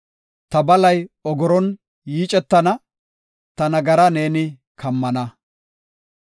Ta balay ogoron yiicetana; ta nagaraa neeni kammana.